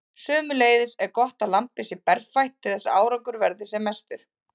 Sömuleiðis er gott að lambið sé berfætt til þess að árangur verði sem mestur.